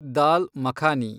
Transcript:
ದಾಲ್ makhani